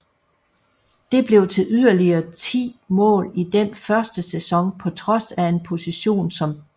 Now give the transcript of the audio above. Det blev til yderligere 10 mål i den første sæson på trods af en position som back